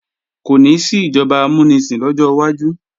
Kò ní sí ìjọba amúnisìn lọ́jọ́ wájú